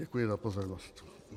Děkuji za pozornost.